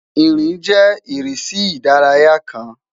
Nrin jẹ irisi idaraya kan